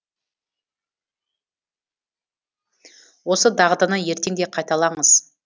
осы дағдыны ертең де қайталаңыз